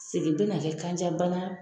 Segin tɛna kɛ kanjabana